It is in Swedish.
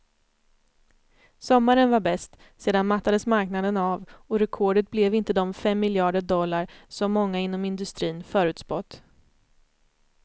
Sommaren var bäst, sedan mattades marknaden av och rekordet blev inte de fem miljarder dollar som många inom industrin förutspått.